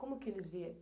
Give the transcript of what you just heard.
Como que eles vieram?